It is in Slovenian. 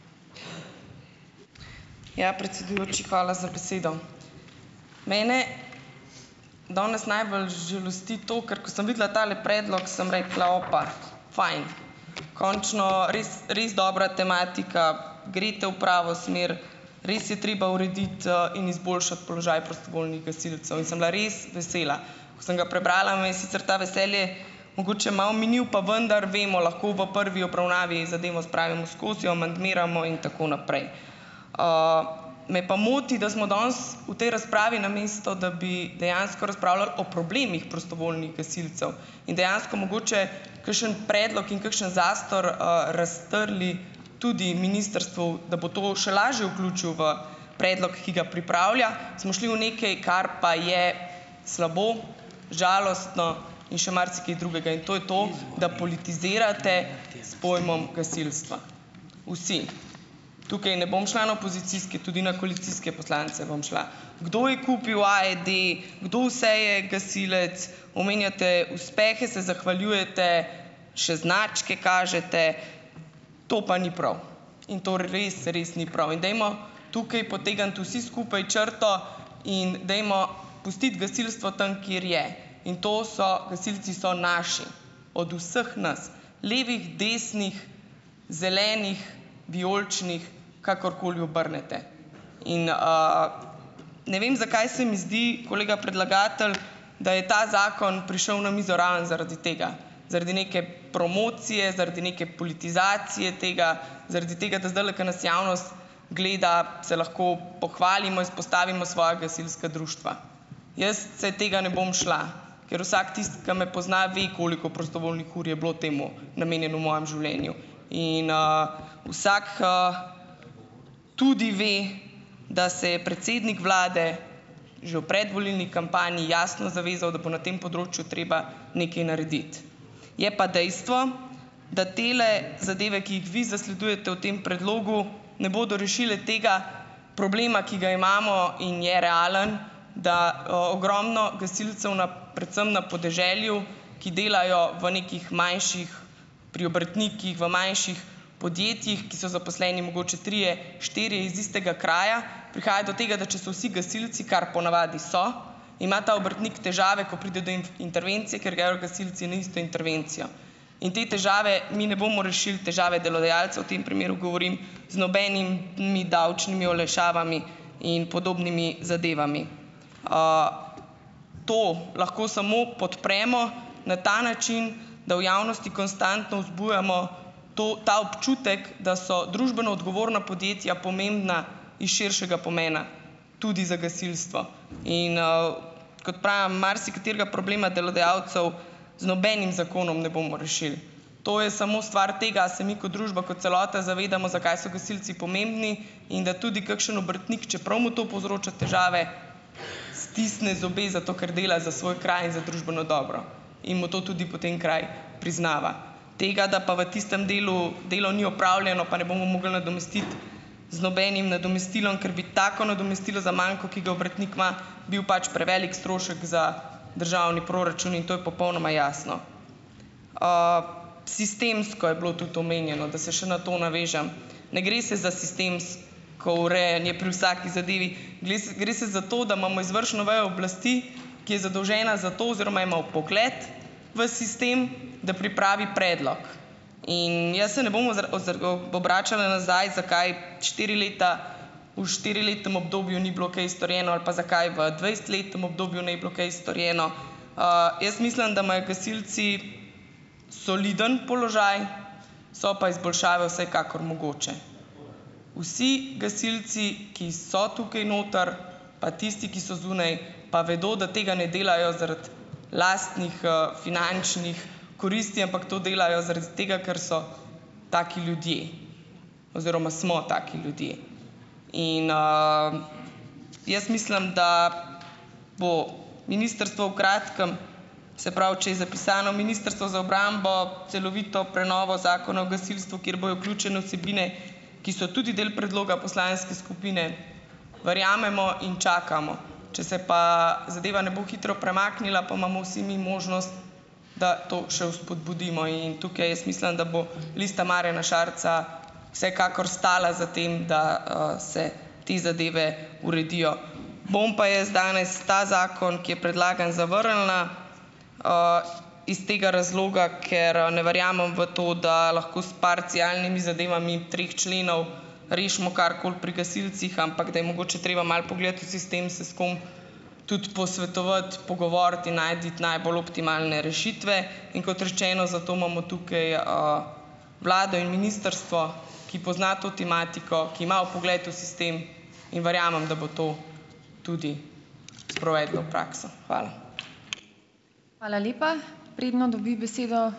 Ja, predsedujoči, hvala za besedo. Mene danes najbolj žalosti to, ker, ko sem videla tale predlog sem rekla: "Opa, fajn, končno res res dobra tematika, greste v pravo smer, res je treba urediti, in izboljšati položaj prostovoljnih gasilcev." In sem bila res vesela. Ko sem ga prebrala, me je sicer to veselje mogoče malo minilo, pa vendar vemo, lahko v prvi obravnavi zadevo spravimo skozi, jo amandmiramo in tako naprej. Me pa moti, da smo danes v tej razpravi, namesto da bi dejansko razpravljali o problemih prostovoljnih gasilcev in dejansko mogoče kakšen predlog in kakšen zastor, raztrli tudi ministrstvu, da bo to še lažje vključilo v predlog, ki ga pripravlja, smo šli v nekaj, kar pa je slabo, žalostno in še marsikaj drugega. In to je to, da politizirate s pojmom gasilstva. Vsi. Tukaj ne bom šla na opozicijske, tudi na koalicijske poslance bom šla. Kdo je kupil AED, kdo vse je gasilec, omenjate uspehe, se zahvaljujete, še značke kažete. To pa ni prav in to res, res ni prav. In dajmo tukaj potegniti vsi skupaj črto in dajmo pustiti gasilstvo tam, kjer je. In to so, gasilci so naši, od vseh nas, levih, desnih, zelenih, vijoličnih, kakorkoli obrnete. Ne vem, zakaj se mi zdi, kolega predlagatelj, da je ta zakon prišel na mizo ravno zaradi tega, zaradi neke promocije, zaradi neke politizacije tega, zaradi tega, da zdajle, ko nas javnost gleda, se lahko pohvalimo, izpostavimo svoja gasilska društva. Jaz se tega ne bom šla, ker vsak tisti, ki me pozna, ve, koliko prostovoljnih ur je bilo temu namenjeno v mojem življenju. Tudi ve, da se je predsednik vlade že v predvolilni kampanji jasno zavezal, da bo na tem področju treba nekaj narediti. Je pa dejstvo, da tele zadeve, ki jih vi zasledujete v tem predlogu, ne bodo rešile tega problema, ki ga imamo in je realen, da ogromno gasilcev na, predvsem na podeželju, ki delajo v nekih manjših, pri obrtnikih, v manjših podjetjih, ki so zaposleni mogoče trije, štirje iz istega kraja, prihaja do tega, da če so vsi gasilci, kar po navadi so, ima ta obrtnik težave, ko pride do intervencije, ker gredo gasilci na isto intervencijo. In te težave, mi ne bomo rešili težave delodajalcev, v tem primeru govorim, z nobenimi davčnimi olajšavami in podobnimi zadevami. To lahko samo podpremo na ta način, da v javnosti konstantno vzbujamo to ta občutek, da so družbeno odgovorna podjetja pomembna iz širšega pomena tudi za gasilstvo. Kot pravim, marsikaterega problema delodajalcev z nobenim zakonom ne bomo rešili. To je samo stvar tega, a se mi ko družba ko celota zavedamo, zakaj so gasilci pomembni, in da tudi kakšen obrtnik, čeprav mu to povzroča težave, stisne zobe, zato ker dela za svoj kraj in za družbeno dobro in mu to tudi potem kraj priznava. Tega, da pa v tistem delu delo ni opravljeno, pa ne bomo mogli nadomestiti z nobenim nadomestilom, ker bi tako nadomestilo za manko, ki ga obrtnik ima, bil pač prevelik strošek za državni proračun. In to je popolnoma jasno. Sistemsko je bilo tudi omenjeno, da se še na to navežem. Ne gre se za ko urejanje pri vsaki zadevi. Gle gre se za to, da imamo izvršno vejo oblasti, ki je zadolžena za to oziroma ima vpogled v sistem, da pripravi predlog. In jaz se ne bom o obračala nazaj, zakaj štiri leta, v štiriletnem obdobju ni bilo kaj storjeno ali pa zakaj v dvajsetletnem obdobju ni bilo kaj storjeno. Jaz mislim, da imajo gasilci soliden položaj, so pa izboljšave vsekakor mogoče. Vsi gasilci, ki so tukaj noter, pa tisti, ki so zunaj, pa vedo, da tega ne delajo zaradi lastnih, finančnih koristi, ampak to delajo zaradi tega, ker so taki ljudje oziroma smo taki ljudje. Jaz mislim, da bo ministrstvo v kratkem, se pravi, če je zapisano, Ministrstvo za obrambo, celovito prenovo Zakona o gasilstvu, kjer bojo vključene vsebine, ki so tudi del predloga poslanske skupine, verjamemo in čakamo. Če se pa zadeva ne bo hitro premaknila, pa imamo vsi mi možnost, da to še vzpodbudimo. In tukaj jaz mislim, da bo Lista Marjana Šarca vsekakor stala za tem, da, se te zadeve uredijo. Bom pa jaz danes ta zakon, ki je predlagan, zavrnila iz tega razloga, ker, ne verjamem v to, da lahko s parcialnimi zadevami treh členov rešimo karkoli pri gasilcih, ampak da je mogoče treba malo pogledati v sistem, se s kom tudi posvetovati, pogovoriti in najti najbolj optimalne rešitve. In kot rečeno, zato imamo tukaj, vlado in ministrstvo, ki pozna to tematiko, ki ima vpogled v sistem. In verjamem, da bo to tudi sprovedlo v prakso. Hvala.